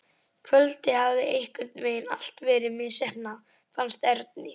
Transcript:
Kvöldið hafði einhvern veginn allt verið misheppnað, fannst Erni.